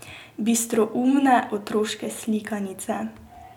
Bistroumne otroške slikanice.